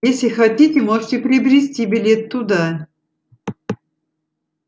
если хотите можете приобрести билет туда